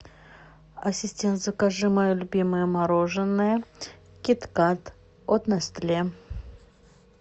ассистент закажи мое любимое мороженое кит кат от нестле